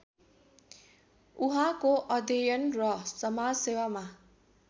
उहाँको अध्ययन र समाजसेवामा